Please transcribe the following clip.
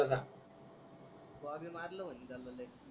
तो अवी मारल मन्हे त्याल लय.